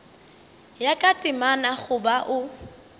ya ka temana goba o